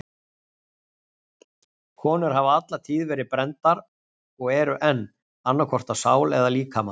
Konur hafa alla tíð verið brenndar og eru enn, annað hvort á sál eða líkama.